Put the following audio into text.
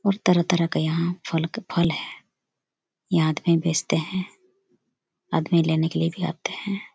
और तरह-तरह का यहाँ फल फल है ये आदमी बेचते है आदमी लेने के लिए भी आते है।